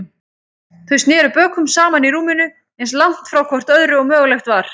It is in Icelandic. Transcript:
Þau sneru bökum saman í rúminu, eins langt hvort frá öðru og mögulegt var.